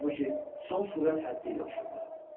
Halbuki son sürət həddi ilə uçurdu.